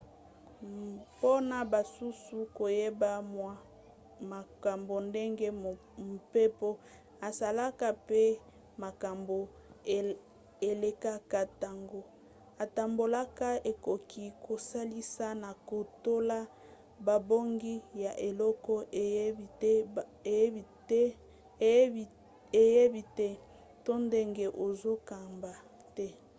mpona basusu koyeba mwa makambo ndenge mpepo esalaka pe makambo elekaka ntango etambolaka ekoki kosalisa na kolonga bobangi ya eloko oyebi te to ndenge ozokamba te